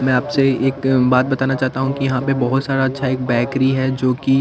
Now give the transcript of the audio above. में आपसे एक बात बताना चाहता हूँ कि यहाँ पे बहोत सारा अच्छा एक बेकरी है जोकि--